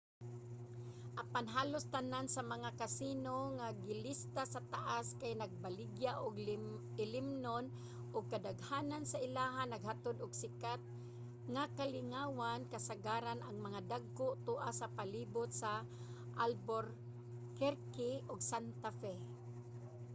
apan halos tanan sa mga casino nga gilista sa taas kay nagabaligya og ilimnonon ug kadaghanan sa ilaha naghatod og sikat nga kalingawan kasagaran ang mga dagko tua sa palibot sa albuquerque ug santa fe